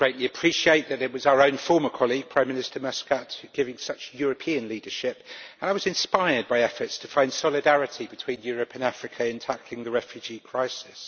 I greatly appreciate that it was our own former colleague, Prime Minister Muscat, giving such European leadership, and I was inspired by efforts to find solidarity between Europe and Africa in tackling the refugee crisis.